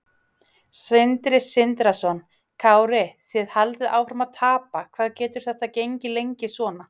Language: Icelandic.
Sindri Sindrason: Kári þið haldið áfram að tapa, hvað getur þetta gengið lengi svona?